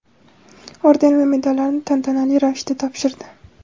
orden va medallarni tantanali ravishda topshirdi.